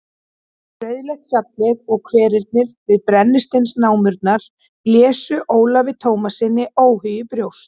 Rauðleitt fjallið og hverirnir við brennisteinsnámurnar blésu Ólafi Tómassyni óhug í brjóst.